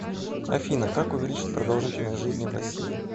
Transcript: афина как увеличить продолжительность жизни в россии